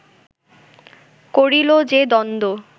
করিল যে দ্বন্দ্ব